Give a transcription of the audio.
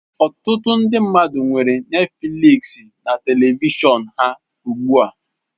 Ọtụtụ ndị mmadụ nwere Netifliks na telivishọn ha ugbu a.